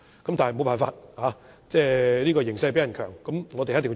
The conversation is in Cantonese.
但是，沒有辦法，"形勢比人強"，我們不得不做。